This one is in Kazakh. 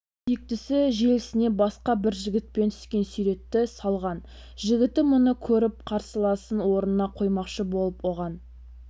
сүйіктісі желісіне басқа бір жігітпен түскен суретті салған жігіті мұны көріп қарсыласын орнына қоймақшы болып оған